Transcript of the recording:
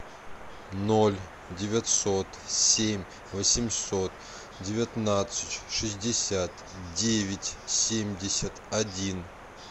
ноль девятьсот семь восемьсот девятнадцать шестьдесят девять семьдесят один